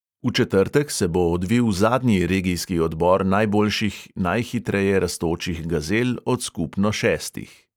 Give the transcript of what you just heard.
V četrtek se bo odvil zadnji regijski odbor najboljših najhitreje rastočih gazel od skupno šestih.